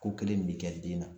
Ko kelen min bɛ kɛ den na